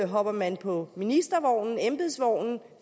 hopper man på ministervognen på embedsvognen